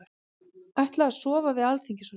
Ætla að sofa við Alþingishúsið